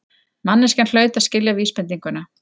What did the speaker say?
Manneskjan hlaut að skilja vísbendinguna.